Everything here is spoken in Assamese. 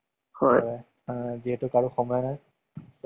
আজি বল তেজপুৰ যাম অলপ, cinema চাই আহিম বুলি কলে।